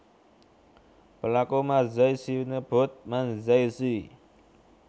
Pelaku Manzai sinebut Manzai shi